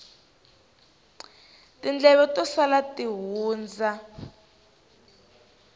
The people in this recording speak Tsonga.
tindleve to sala ti hundza